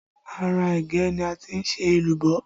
Ara ẹ̀gẹ́ ni a ti ń ṣe èlùbọ́